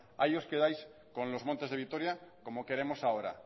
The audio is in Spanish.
ahí os quedáis con los montes de vitoria como queremos ahora